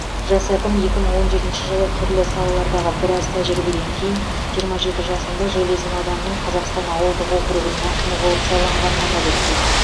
жас әкім екі мың он жетінші жылы түрлі салалардағы біраз тәжірибеден кейін жиырма жеті жасында железин ауданының қазақстан ауылдық округінің әкімі болып сайланғанын атап өтті